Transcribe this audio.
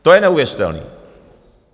To je neuvěřitelné!